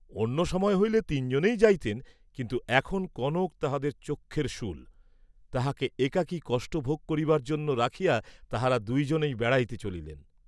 অন্য সময় হইলে তিন জনেই যাইতেন; কিন্তু এখন কনক তাঁহাদের চক্ষের শূল, তাহাকে একাকী কষ্ট ভোগ করিবার জন্য রাখিয়া, তাঁহারা দুই জনেই বেড়াইতে চলিলেন।